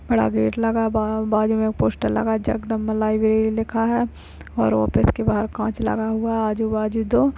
बड़ा गेट लगा है। बाहर बाजु में पोस्टर लगा जगदम्बा लाइब्रेरी लिखा है और ऑफिस के बाहर काँच लगा हुआ है आजू-बाजु दो --